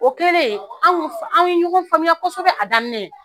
O kɛlen an kun anw ye ɲɔgɔn faamuya kosɛbɛ a daminɛ.